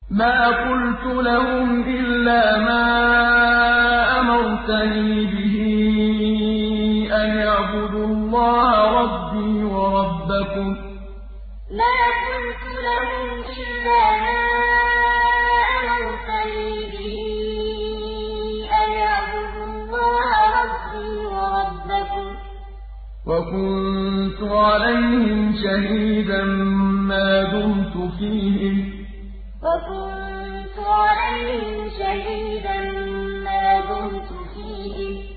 مَا قُلْتُ لَهُمْ إِلَّا مَا أَمَرْتَنِي بِهِ أَنِ اعْبُدُوا اللَّهَ رَبِّي وَرَبَّكُمْ ۚ وَكُنتُ عَلَيْهِمْ شَهِيدًا مَّا دُمْتُ فِيهِمْ ۖ فَلَمَّا تَوَفَّيْتَنِي كُنتَ أَنتَ الرَّقِيبَ عَلَيْهِمْ ۚ وَأَنتَ عَلَىٰ كُلِّ شَيْءٍ شَهِيدٌ مَا قُلْتُ لَهُمْ إِلَّا مَا أَمَرْتَنِي بِهِ أَنِ اعْبُدُوا اللَّهَ رَبِّي وَرَبَّكُمْ ۚ وَكُنتُ عَلَيْهِمْ شَهِيدًا مَّا دُمْتُ فِيهِمْ ۖ فَلَمَّا تَوَفَّيْتَنِي كُنتَ أَنتَ الرَّقِيبَ عَلَيْهِمْ ۚ وَأَنتَ عَلَىٰ كُلِّ شَيْءٍ شَهِيدٌ